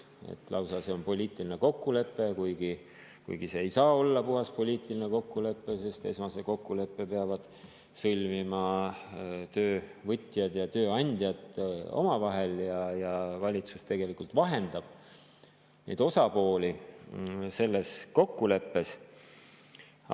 See olevat lausa poliitiline kokkulepe, kuigi see ei saa olla puhas poliitiline kokkulepe, sest esmase kokkuleppe peavad sõlmima töövõtjad ja tööandjad omavahel ja valitsus tegelikult vahendab neid osapooli selles kokkuleppeni jõudmisel.